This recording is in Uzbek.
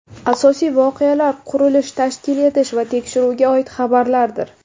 Asosiy voqealar qurilish, tashkil etish va tekshiruvga oid xabarlardir.